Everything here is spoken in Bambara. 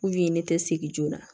ne tɛ segin joona